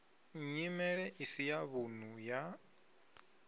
nyimelo isi ya vhunḓu ya